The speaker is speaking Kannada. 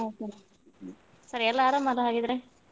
ಸರಿ ಎಲ್ಲರು ಆರಾಮ ಅಲ್ಲಾ ಹಾಗಿದ್ರೆ.